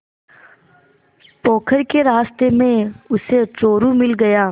पोखर के रास्ते में उसे चोरु मिल गया